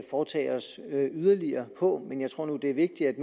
foretage os yderligere på men jeg tror nu at det er vigtigt at